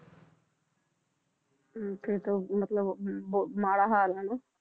ਹਮ ਫਿਰ ਤਾਂ ਮਤਲਬ ਉਹ ਅਮ ਬਹੁਤ ਮਾੜਾ ਹਾਲ ਹੈ ਨਾ।